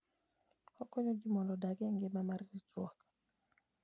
Okonyo ji mondo odag e ngima mar ritruok.